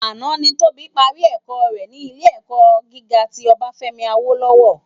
Àná ni Tobi pàrí èkò re ni Ilé èkò gigá ti Obafemi Awolowo